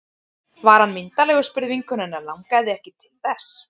Var hann myndarlegur? spurði vinkona hennar Langaði þig ekki til þess?